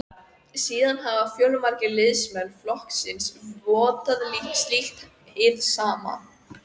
Síðan hafa fjölmargir liðsmenn flokksins vottað slíkt hið sama.